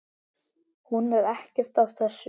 Hún er ekkert af þessu.